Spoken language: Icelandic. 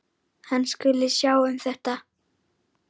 Hann skuli sjá um þetta.